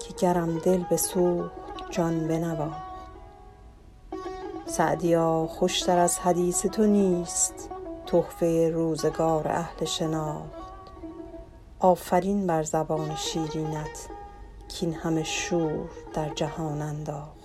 که گرم دل بسوخت جان بنواخت سعدیا خوش تر از حدیث تو نیست تحفه روزگار اهل شناخت آفرین بر زبان شیرینت کاین همه شور در جهان انداخت